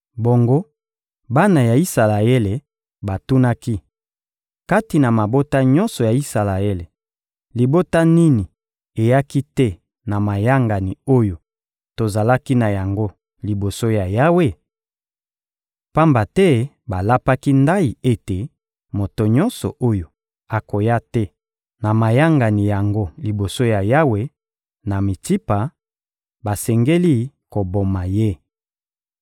Bongo bana ya Isalaele batunaki: «Kati na mabota nyonso ya Isalaele, libota nini eyaki te na mayangani oyo tozalaki na yango liboso ya Yawe?» Pamba te balapaki ndayi ete moto nyonso oyo akoya te na mayangani yango liboso ya Yawe, na Mitsipa, basengeli koboma ye.